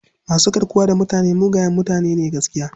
Masu garkuwa da mutane mugaye mutane ne gaskiya..